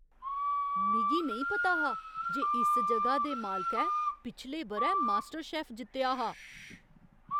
मिगी नेईं पता हा जे इस जगह दे मालकै पिछले ब'रै मास्टरशेफ जित्तेआ हा!